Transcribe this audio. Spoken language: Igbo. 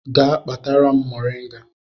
Gaa kpatara m moringa